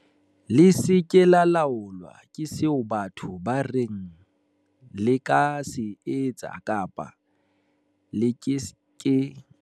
"Le se ke la laolwa ke seo batho ba reng le ka se etsa kapa le ke ke la se etsa."